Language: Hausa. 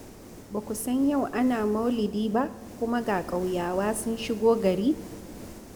Ba ku san yau ana maulidi ba, kuma ga ƙauyawa sun shigo gari?